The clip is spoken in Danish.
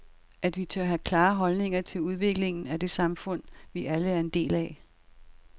At vi tør have klare holdninger til udviklingen af det samfund, vi alle er en del af.